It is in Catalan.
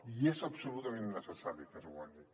i és absolutament necessari que es guanyi